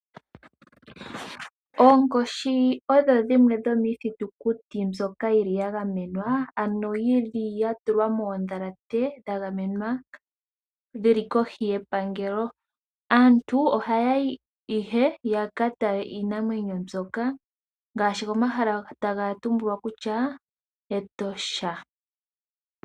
Oonkoshi odho dhimwe dhomiithitukuti mbyoka yili ya gamenwa ano yili ya tulwa moodhalate dha gamenwa dhili kohi yepangelo. Aantu ohaya yi ya ka tale iinamwenyo mbyoka ngaashi komahala taga tumbulwa kutya Etosha.